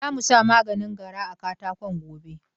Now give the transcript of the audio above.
Za mu sa maganin gara a katakon gobe.